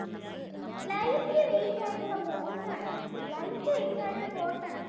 light weight ആയിട്ടുള്ള bones ആണ് light weight ആയിട്ടുള്ള bones ആണ്.